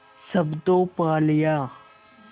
सब तो पा लिया